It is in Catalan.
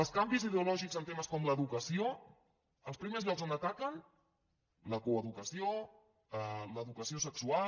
els canvis ideològics en temes com l’educació els primers llocs on ataquen la coeducació l’educació sexual